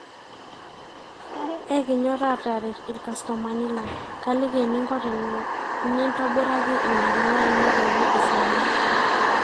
ekinyor aateret ilkastomani lang, kaaliki eninko teni ntobiraki ina kila ino peyie esidanu